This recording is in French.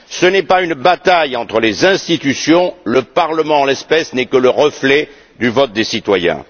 Il ne s'agit pas d'une bataille entre les institutions le Parlement, en l'espèce, n'est que le reflet du vote des citoyens.